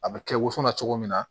A bɛ kɛ woso la cogo min na